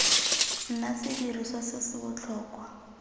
nna sediriswa se se botlhokwa